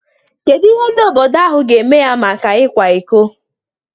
Kedu ihe ndị obodo ahụ ga-eme ya maka ịkwa iko?